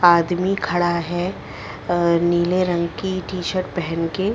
आदमी खड़ा है अ नीले रंग की टी-शर्ट पहन के--